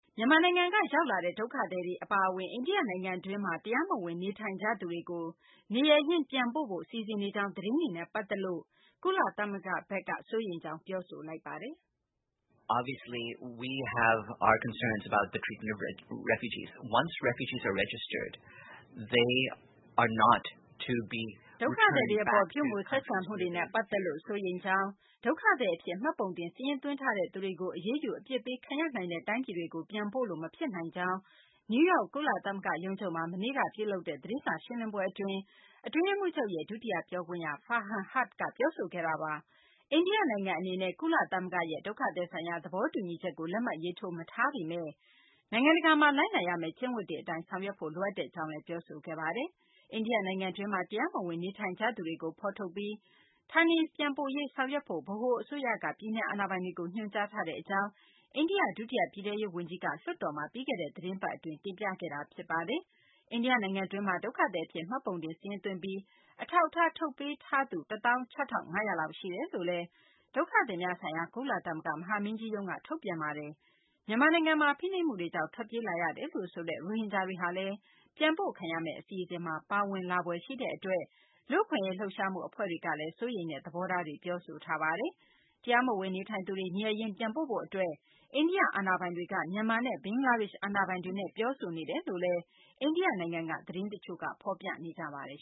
မြန်မာနိုင်ငံက ရောက်လာတဲ့ ဒုက္ခသည်တွေ အပါအဝင် အိန္ဒိယ နိုင်ငံတွင်းမှာ တရားမဝင် နေထိုင်ကြသူတွေကို နေရပ်ရင်း ပြန်ပို့ဖို့ စီစဉ်နေကြောင်း သတင်းတွေနဲ့ ပတ်သက်လို့ကုလသမဂ္ဂက စိုးရိမ်ကြောင်း ပြောဆိုလိုက်ပါတယ်။ ဒုက္ခသည်တွေအပေါ် ပြုမူဆက်ဆံမှုတွေနဲ့ ပတ်သက်လို့ စိုးရိမ်ကြောင်း ဒုက္ခသည်အဖြစ် မှတ်ပုံတင် စာရင်းသွားထားတဲ့ သူတွေကို အရေးယူအပြစ်ပေးခံရနိုင်တဲ့ တိုင်းပြည်တွေကို ပြန်ပို့လို့ မဖြစ်နိုင်ကြောင်း နယူးယောက် ကုလသမဂ္ဂရုံးချုပ်မှာ မနေ့တုန်းက ပြုလုပ်တဲ့ သတင်းစာရှင်းလင်းပွဲမှာ အတွင်းရေးမှူးချုပ်ရဲ့ ဒုတိယ ပြောခွင့်ရ Farhan Haq က ပြောဆိုခဲ့တာပါ။ အိန္ဒိယနိုင်ငံ အနေနဲ့ ကုလသမဂ္ဂရဲ့ ဒုက္ခသည်ဆိုင်ရာ သဘောတူညီချက်ကို လက်မှတ်ရေးထိုး မထားပေမဲ့ နိုင်ငံတကာမှာ လိုက်နာရမယ့် ကျင့်ဝတ်တွေအတိုင်း ဆောင်ရွက်ဖို့ လိုအပ်ကြောင်းလည်း ပြောဆိုခဲ့တာပါ။ အိန္ဒိယ နိုင်ငံတွင်းမှာ တရားမဝင် နေထိုင်ကြသူတွေကို ဖော်ထုတ်ပြီး ဌာနေပြန်ပို့ရေး ဆောင်ရွက်ဖို့ ဗဟိုအစိုးရက ပြည်နယ် အာဏာပိုင်တွေကို ညွှန်ကြားထားတဲ့အကြောင်း အိန္ဒိယ ဒုတိယ ပြည်ထဲရေး ဝန်ကြီး Kiren Rijiju က လွှတ်တော်မှာ ပြီးခဲ့တဲ့ သီတင်းပတ် အတွင်း တင်ပြခဲ့တာပါ။ အိန္ဒိယ နိုင်ငံတွင်းမှာ ဒုက္ခသည် အဖြစ် မှတ်ပုံတင် စာရင်းသွင်းပြီး အထောက်အထား ထုတ်ပေးထားသူ ၁ သောင်း ၆ ထောင့် ၅ ရာလောက် ရှိတယ်လို့လည်း ဒုက္ခသည်များဆိုင်ရာ ကုလသမဂ္ဂ မဟာမင်းကြီးရုံးက ထုတ်ပြန်ထားပါတယ်။ မြန်မာနိုင်ငံမှာ ဖိနှိပ်မှုတွေကြောင့် ထွက်ပြေးလာရတယ်လို့ဆိုတဲ့ ရိုဟင်ဂျာတွေဟာလည်း ပြန်ပို့ခံရမယ့် အစီအစဉ်မှာ ပါဝင်လာဖွယ်ရှိတဲ့အတွက် လူ့အခွင့်အရေးလှုပ်ရှားမှု အဖွဲ့တွေကလည်း စိုးရိမ်တဲ့ သဘောထားတွေကို ပြောဆိုထားကြတာပါ။ တရားမဝင် နေထိုင်သူတွေ နေရပ်ရင်း ပြန်ပို့ဖို့အတွက် အိန္ဒိယအာဏာပိုင်တွေက မြန်မာနဲ့ ဘင်္ဂလားဒေ့ရှ် အာဏာပိုင်တွေနဲ့ ပြောဆိုနေတယ်လို့လည်း အိန္ဒိယနိုင်ငံက သတင်းတချို့ကဖော်ပြနေကြပါတယ်